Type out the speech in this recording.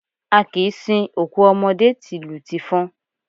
A kìí sin òkú ọmọdé tìlù tìfọn.